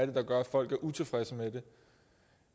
det der gør at folk er utilfredse med det